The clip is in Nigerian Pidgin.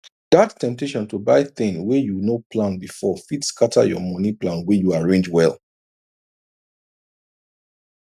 that temptation to buy thing wey you no plan before fit scatter your money plan wey you arrange well